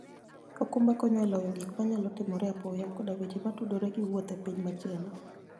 okumba konyo e loyo gik manyalo timore apoya, koda weche motudore gi wuoth e piny machielo.